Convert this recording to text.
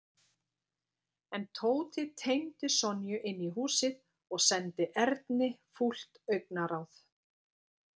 En Tóti teymdi Sonju inn í húsið og sendi Erni fúlt augnaráð.